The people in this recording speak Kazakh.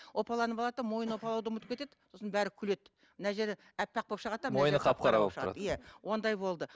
опаланып алады да мойынын опалауды ұмытып кетеді сосын бәрі күледі мына жері аппақ болып шығады да иә ондай болды